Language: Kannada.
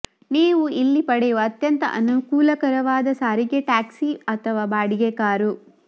ನೀವು ಇಲ್ಲಿ ಪಡೆಯುವ ಅತ್ಯಂತ ಅನುಕೂಲಕರವಾದ ಸಾರಿಗೆ ಟ್ಯಾಕ್ಸಿ ಅಥವಾ ಬಾಡಿಗೆ ಕಾರು